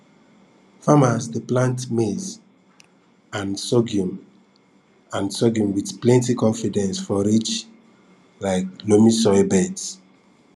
farmas dey plant maize and sorghum and sorghum with plenty confidence for rich um loamy soil beds